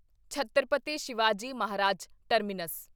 Chhatrapati Shivaji Maharaj terminus